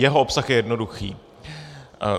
Jeho obsah je jednoduchý.